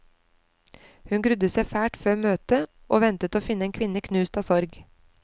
Hun grudde seg fælt for møtet, og ventet å finne en kvinne knust av sorg.